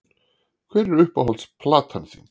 Hver er uppáhalds platan þín?